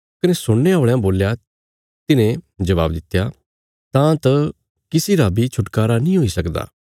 कने सुणने औल़यां बोल्या तिन्हे जबाब दित्या तां त किसी रा बी छुटकारा नीं हुई सकदा